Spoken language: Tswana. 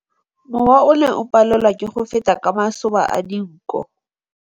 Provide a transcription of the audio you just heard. Mowa o ne o palelwa ke go feta ka masoba a dinko.